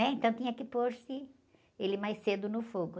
né? Então tinha que pôr-se ele mais cedo no fogo.